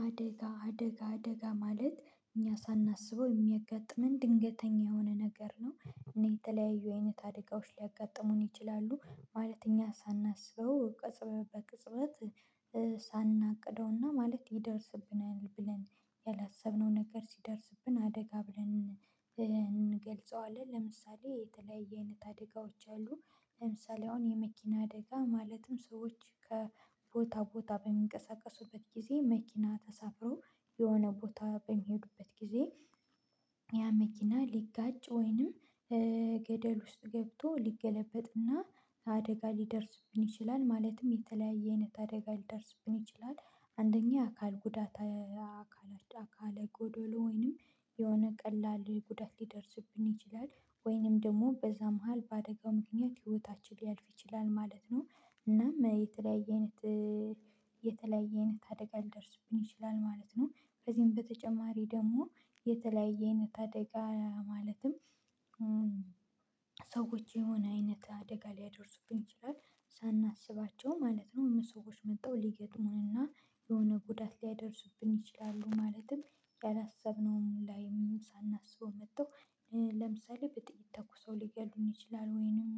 አደጋ አደጋ አደጋ ማለት እኛ ሳናስበው የሚያጋጥመን ድንገተኛ የሆነ ነገር ነው። እና የተለያዩ አይነት አደጋዎች ሊያጋጥሙን ይችላሉ ማለት እኛ ሳናስበው ቅጽበት በቅጽበት ሳናቅደውና ማለት ይደርስብናል ብለን ያላሰብነው ነገር ሲደርስብን አደጋ ብለን እንገልጸዋለን ለምሳሌ የተለያየ አይነት አደጋዎች አሉ። ለምሳሌ አሁን የመኪና አደጋ ማለትም ሰዎች ከቦታ ቦታ በሚንቀሳቀሱበት ጊዜ መኪና ተሳፍሮ የሆነ ቦታ በሚሄዱበት ጊዜ ያ መኪና ሊጋጭ ወይንም ገደል ውስጥ ገብቶ ሊገለበጥና አደጋ ሊደርስብን ይችላል ማለትም የተለያየ አይነት አደጋ ሊደርስብን ይችላል። አንደኛ አካል ጉዳት አካል አካል ጎዶሎ ወይንም የሆነ ቀላል ጉዳት ሊደርስብን ይችላል ወይንም ደግሞ በዛ መሃል በአደጋ ምክንያት ህይወታችን ሊያልፍ ይችላል ማለት ነው። እናም የተለያየ አይነት የተለያየ አይነት አደጋ ሊደርስብን ይችላል ማለት ነው በዚህም በተጨማሪ ደግሞ የተለያየ አይነት አደጋ ማለትም ሰዎች የሆነ አይነት አደጋ ሊያደርሱብን ይችላል። ሳናስባቸው ማለት ነው ሰዎች መጣው ሊገጥሙንና የሆነ ጉዳት ሊያደርሱብን ይችላሉ ማለትም ያላሰብነውም ላይም ሳናስበው መጥተው ለምሳሌ በጥይት ተኩሰው ሊገድሉኝ ይችላል ወይንም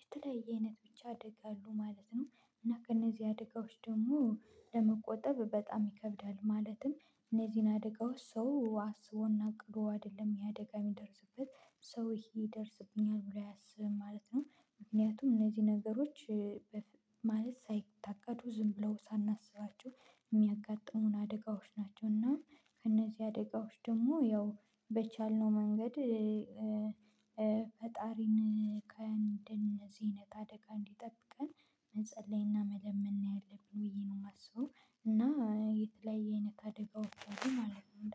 የተለያየ አይነት ብቻ አደጋ አሉ ማለት ነው። እና ከነዚህ አደጋዎች ደግሞ ለመቆጠብ በጣም ይከብዳል ማለትም እነዚህን አደጋው ሰው አስቦና ቅዱስ አይደለም ያ አደጋ የሚደርስበት ሰው ይሄ ይደርስብኛል ብሎ አያሰብም ማለት ነው። ምክንያቱም እነዚህ ነገሮች ማለት ሳይታቀዱ ዝም ብለው ሳናስባቸው የሚያጋጥሙን አደጋዎች ናቸው። እና ከእነዚህ አደጋዎች ደግሞ ያው በቻልነው መንገድ ፈጣሪን ከእንደነዚህ አይነት አደጋ እንዲጠብቀን መጸለይና መለመን ያለብን ውይ ነው የማስበው። እና የተለያየ አይነት አደጋዎች አሉ ማለት ነው